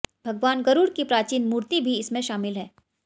भगवान गरुड़ की प्राचीन मूर्ति भी इसमें शामिल है